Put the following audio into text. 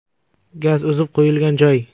Gaz uzib qo‘yilgan joy.